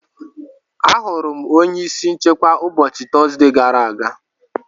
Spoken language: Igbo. Ahụrụ m onye isi nchekwa ụbọchị Tọzdee gara aga.